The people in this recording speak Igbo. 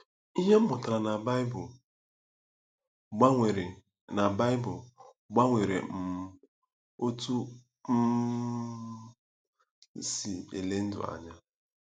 “Ihe m mụtara na Baịbụl gbanwere na Baịbụl gbanwere um otú m um si ele ndụ anya”